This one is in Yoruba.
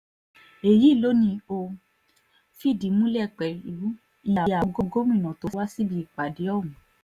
èyí ló ní ó fìdí múlẹ̀ pẹ̀lú iye àwọn gómìnà tó wá síbi ìpàdé ọ̀hún